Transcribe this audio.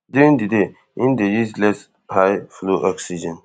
during di day im dey use less highflow oxygen